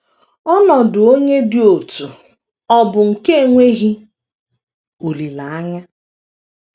Ọnọdụ onye dị otú ọ̀ bụ nke enweghị olileanya?